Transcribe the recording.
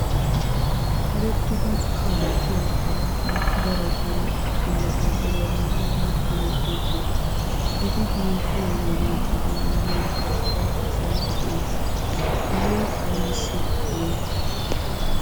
Erettidi kaaletiya aawati daroti ambbaasadderiya maayidi hemettoosona. Eti hemettiyo wode eta miyyiyankka cora asay de'ees. Hagee aybissi hanii?